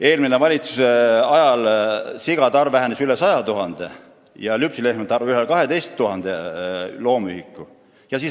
Eelmise valitsuse ajal vähenes sigade arv üle 100 000 ja lüpsilehmade arv üle 12 000 loomühiku.